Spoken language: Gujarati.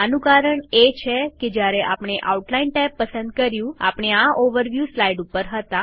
આનું કારણ એ છે કે જ્યારે આપણે આઉટલાઈન ટેબ પસંદ કર્યું આપણે આ ઓવરવ્યુ સ્લાઈડ ઉપર હતા